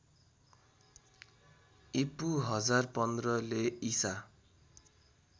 ईपू १०१५ ले ईसा